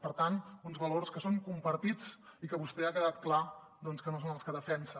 per tant uns valors que són compartits i que vostè ha quedat clar doncs que no són els que defensa